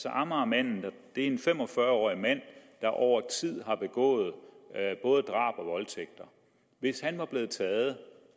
amagermanden er en fem og fyrre årig mand der over tid har begået både drab og voldtægter hvis han var blevet taget